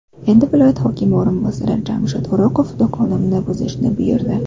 Endi viloyat hokimi o‘rinbosari Jamshid O‘roqov do‘konimni buzishni buyurdi.